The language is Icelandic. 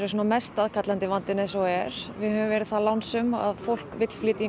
mest aðkallandi vandinn eins og er við höfum verið það lánsöm að fólk vill flytja